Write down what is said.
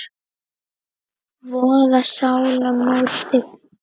voða sálar móti grandi.